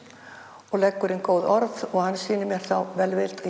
og leggur inn góð orð og hann sýnir mér þá velvild